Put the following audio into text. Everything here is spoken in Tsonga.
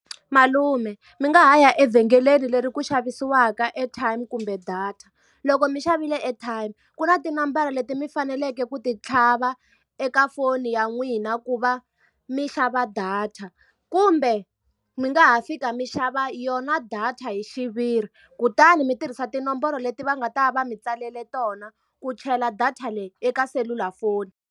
Malume mi nga ha ya evhengeleni leri ku xavisiwaka airtime kumbe data. Loko mi xavile airtime, ku na tinambara leti mi faneleke ku ti tlhava eka foni ya n'wina ku va mi xava data. Kumbe mi nga ha fika mi xava yona data hi xiviri, kutani mitirhisa tinomboro leti va nga ta va mi tsalele tona ku chela data leyi eka selulafoni.